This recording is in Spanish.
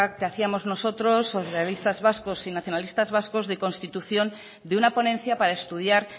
que hacíamos nosotros los socialistas vascos y nacionalistas vascos de constitución de una ponencia para estudiar